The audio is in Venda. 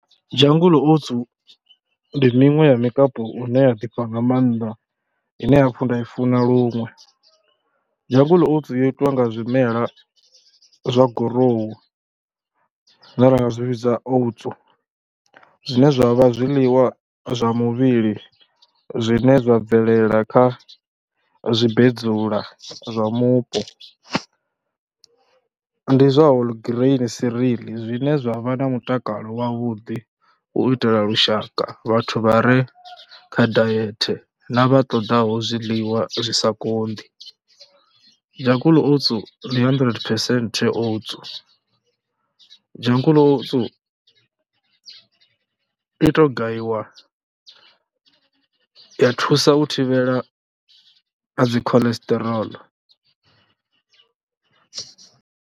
Jungle Oats ndi miṅwe ya mikapu ine ya ḓifha nga maanḓa, ine nda i funa luṅwe. Jungle Oats yo itwa nga zwimela zwa gurowu zwine ra nga zwi vhidza Oats. Zwine zwa vha zwiḽiwa zwa muvhili zwine zwa bvelela kha zwimbedzula zwa mupo, ndi zwa whole grain vereal zwine zwa vha na mutakalo wavhuḓi, u itela lushaka vhathu vha re kha diet na vha ṱoḓaho zwiḽiwa zwi sa konḓi. Jungle Oats ndi handirente phesenthe Oats, Jungle Oats i tou gayiwa ya thusa u thivhela a dzi cholesterol.